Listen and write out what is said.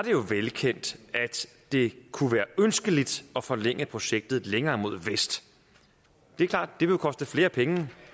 jo velkendt at det kunne være ønskeligt at forlænge projektet længere mod vest det er klart det vil koste flere penge